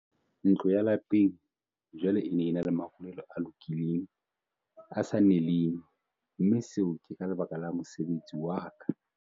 "Ntlo ya lapeng jwale e na le marulelo a lokileng, a sa neleng, mme seo ke ka lebaka la mosebetsi wa ka."